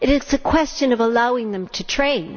It is a question of allowing them to train.